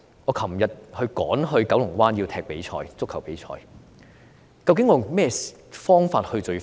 我昨天趕往九龍灣參加足球比賽，究竟我以何種方法會最快？